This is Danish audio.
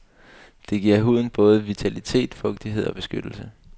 Den giver huden både vitalitet, fugtighed og beskyttelse.